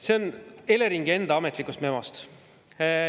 See on Eleringi enda ametlikust memost.